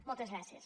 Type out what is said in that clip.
moltes gràcies